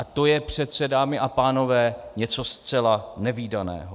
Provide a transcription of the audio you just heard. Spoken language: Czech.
A to je přece, dámy a pánové, něco zcela nevídaného.